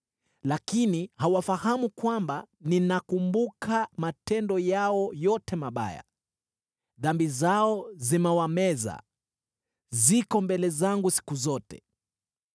lakini hawafahamu kwamba ninakumbuka matendo yao yote mabaya. Dhambi zao zimewameza, ziko mbele zangu siku zote.